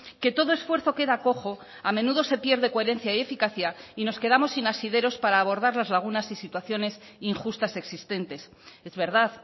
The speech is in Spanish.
que todo esfuerzo queda cojo a menudo se pierde coherencia y eficacia y nos quedamos sin asideros para abordar las lagunas y situaciones injustas existentes es verdad